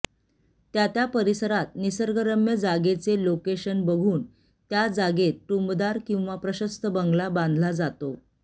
त्या त्या परिसरात निसर्गरम्य जागेचे लोकेशन बघून त्या जागेत टुमदार किंवा प्रशस्त बंगला बांधला जातो